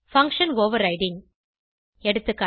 function overriding எகா